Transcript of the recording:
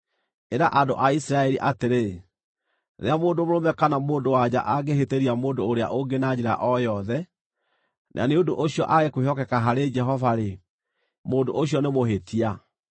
“Ĩra andũ a Isiraeli atĩrĩ, ‘Rĩrĩa mũndũ mũrũme kana mũndũ-wa-nja angĩhĩtĩria mũndũ ũrĩa ũngĩ na njĩra o yothe, na nĩ ũndũ ũcio aage kwĩhokeka harĩ Jehova-rĩ, mũndũ ũcio nĩ mũhĩtia,